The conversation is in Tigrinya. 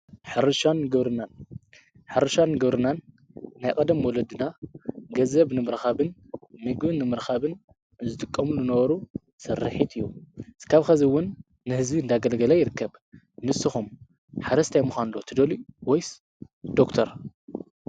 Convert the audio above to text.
ሓርሻን ገብርናን ናይ ቐደም ወለድና ገዘንብ ንምርኻብን ሚግን ንምህርኻብን ዝትቆምሉ ነበሩ ሠርሒት እዩ ዝካብ ኸዝውን ንሕዚ እንዳገለገለይ ይርከብ ንስኹም ሓረስት ኣይምዃኑሎ ትደልዩ ወይስ ዶርክተር?